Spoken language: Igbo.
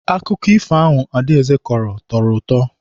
Akụkọ ifo ahụ Adaeze kọrọ tọrọ ụtọ.